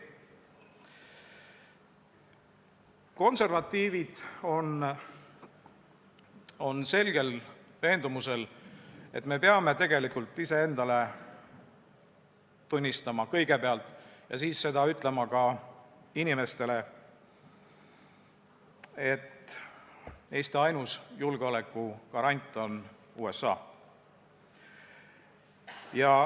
Konservatiivid on selgel veendumusel, et me peame kõigepealt iseendale tunnistama ja siis ka inimestele ütlema, et Eesti ainus julgeolekugarant on USA.